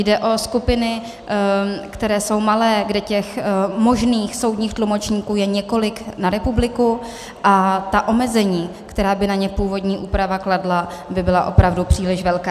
Jde o skupiny, které jsou malé, kde těch možných soudních tlumočníků je několik na republiku, a ta omezení, která by na ně původní úprava kladla, by byla opravdu příliš velká.